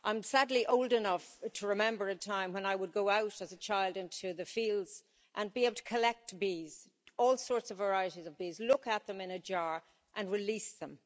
I'm sadly old enough to remember a time when I would go out as a child into the fields and be able to collect bees, all sorts of varieties of bees, look at them in a jar and release them.